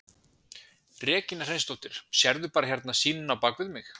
Regína Hreinsdóttir: Sérðu bara hérna sýnina á bakvið mig?